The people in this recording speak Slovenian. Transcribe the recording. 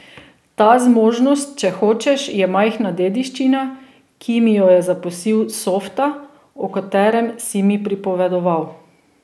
Ta zmožnost, če hočeš, je majhna dediščina, ki mi jo je zapustil Softa, o katerem si mi pripovedoval.